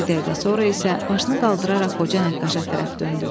Bir dəqiqə sonra isə başını qaldıraraq qoca nəqqaşa tərəf döndü.